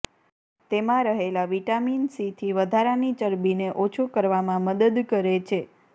તેમાં રહેલા વિટામિન સીથી વધારાની ચરબીને ઓછું કરવામાં મદદ કરે છે